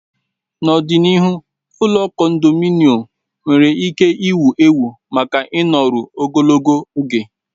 N'ọdịnihu, ụlọ kondominọm nwere ike ịwụ ewu maka ịnọru ogologo oge.